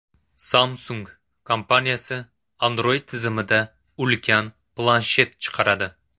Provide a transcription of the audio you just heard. Samsung kompaniyasi Android tizimida ulkan planshet chiqaradi.